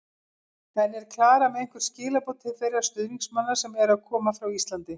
En er Klara með einhver skilaboð til þeirra stuðningsmanna sem eru að koma frá Íslandi?